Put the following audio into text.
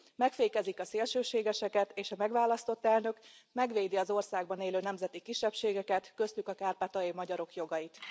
Megfékezik a szélsőségeseket és a megválasztott elnök megvédi az országban élő nemzeti kisebbségek, köztük a kárpátaljai magyarok jogait.